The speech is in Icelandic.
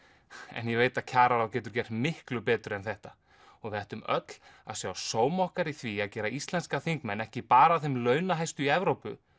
en ég veit að kjararáð getur gert miklu betur en þetta og við ættum öll að sjá sóma okkar í því að gera íslenska þingmenn ekki bara að þeim launahæstu í Evrópu